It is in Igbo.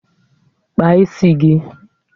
Kpaa isi gị!